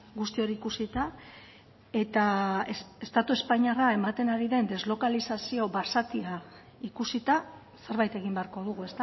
guzti hori ikusita eta estatu espainiarra ematen ari den deslokalizazio basatia ikusita zerbait egin beharko dugu